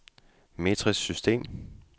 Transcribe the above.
metrisk system